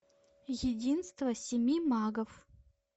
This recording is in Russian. единство семи магов